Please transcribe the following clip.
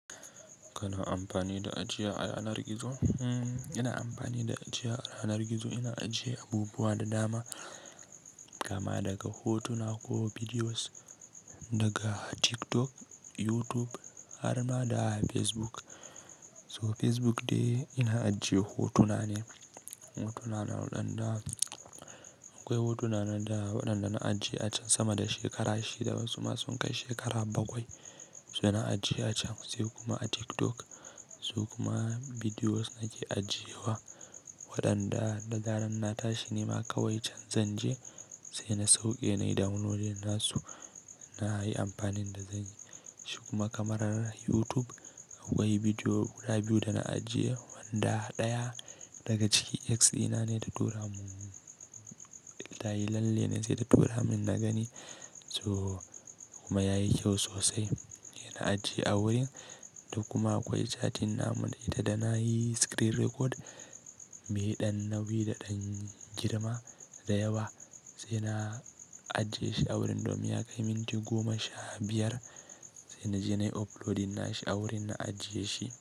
Kana amfani da ajiya a yanar gizo? Hmm, ina amfani da ajiya a yanar gizo, ina ajiye abubuwa da dama kama daga hotuna ko bidiyos daga TikTok, YouTube har ma da Facebook. So Facebook dai ina ajiye hotuna ne, hotuna na waɗanda, akwai hotuna na da waɗanda na ajiye a can sama da shekara shida wasu ma sun kai shekara bakwai. So na ajiye a can sai kuma a TikTok. So kuma bidiyos nake ajiye wa waɗanda da zaren na tashi nema kawai can zanje sai na sauke nai downloadin nasu na yi amfanin da zanyi. Shi kuma kamarar YouTube akwai bidiyo guda biyu da na ajiye wanda ɗaya daga cikin ex ina ne ta tura mun, tayi lalle ne sai ta tura mun na gani. So kuma yayi kyau sosai, ina ajiye a wurin. Da kuma akwai chatin namu da ita da na yi screen record me ɗan nauyi da ɗan girma da yawa sai na ajiye shi a wurin domin ya kai minti goma sha biyar sai na je nai uploadin nashi a wurin na ajiye shi.